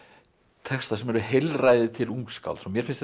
texta sem eru heilræði til ungskálds og mér finnst þetta